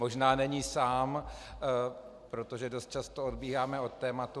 Možná není sám, protože dost často odbíháme od tématu.